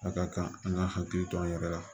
A ka kan an k'an hakili to an yɛrɛ la